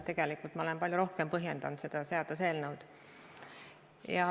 Tegelikult ma olen palju rohkem põhjendanud seda seaduseelnõu.